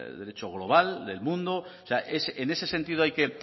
derecho global del mundo o sea en ese sentido hay que